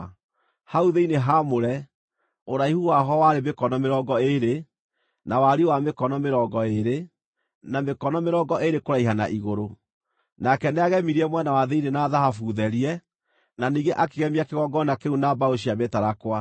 Hau thĩinĩ haamũre, ũraihu waho warĩ mĩkono mĩrongo ĩĩrĩ, na wariĩ wa mĩkono mĩrongo ĩĩrĩ, na mĩkono mĩrongo ĩĩrĩ kũraiha na igũrũ. Nake nĩagemirie mwena wa thĩinĩ na thahabu therie, na ningĩ akĩgemia kĩgongona kĩu na mbaũ cia mĩtarakwa.